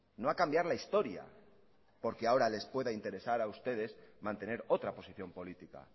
no a cambiar la historia porque ahora les pueda interesar a ustedes mantener otra posición política